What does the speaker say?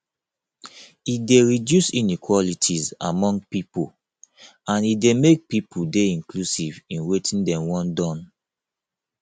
e de reduce inequalities among pipo and e de make pipo de inclusive in wetin dem won don